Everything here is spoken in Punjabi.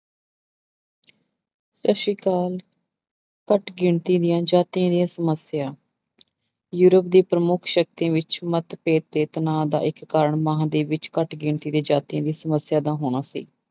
ਸਤਿ ਸ੍ਰੀ ਅਕਾਲ, ਘੱਟ ਗਿਣਤੀ ਦੀਆਂ ਜਾਤੀ ਦੀਆਂ ਸਮੱਸਿਆ ਯੂਰਪ ਦੀ ਪ੍ਰਮੁੱਖ ਸ਼ਕਤੀ ਵਿੱਚ ਮਤਭੇਦ ਤੇ ਤਨਾਅ ਦਾ ਇੱਕ ਕਾਰਨ ਮਹਾਂਦੀਪ ਵਿੱਚ ਘੱਟ ਗਿਣਤੀ ਦੇ ਜਾਤੀ ਦੀ ਸਮੱਸਿਆ ਦਾ ਹੋਣਾ ਸੀ।